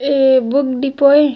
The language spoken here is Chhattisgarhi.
A book depot A.